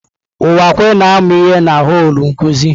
Uwakwe na-amụ ihe na họl nkuzi.